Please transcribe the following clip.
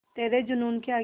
तेरे जूनून के आगे